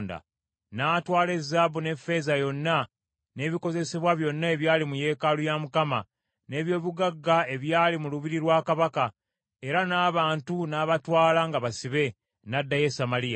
N’atwala ezaabu n’effeeza yonna, n’ebikozesebwa byonna ebyali mu yeekaalu ya Mukama , n’eby’obugagga ebyali mu lubiri lwa kabaka, era n’abantu n’abatwala nga basibe, n’addayo e Samaliya.